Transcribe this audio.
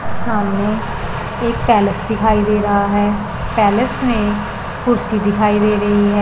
सामने एक पैलेस दिखाई दे रहा हैं पैलेस में कुर्सी दिखाई दे रही है।